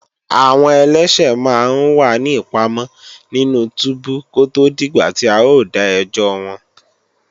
Àwọn ẹlẹ́ṣẹ̀ máa ń wà ní ìpamọ́ nínú túbú kó tó dìgbà tí a ó dá ẹjọ́ wọn